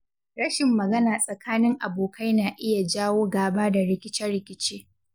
Rashin magana tsakanin abokai na iya jawo gaba da rikice-rikice.